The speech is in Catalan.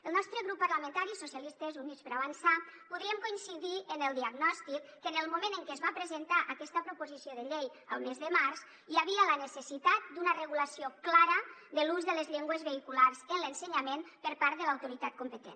el nostre grup parlamentari socialistes i units per avançar podríem coincidir en el diagnòstic que en el moment en què es va presentar aquesta proposició de llei el mes de març hi havia la necessitat d’una regulació clara de l’ús de les llengües vehiculars en l’ensenyament per part de l’autoritat competent